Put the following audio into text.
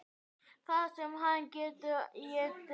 Það sem hann getur étið!